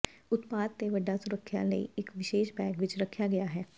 ਉਤਪਾਦ ਦੇ ਵੱਡਾ ਸੁਰੱਖਿਆ ਲਈ ਇਕ ਵਿਸ਼ੇਸ਼ ਬੈਗ ਵਿੱਚ ਰੱਖਿਆ ਗਿਆ ਹੈ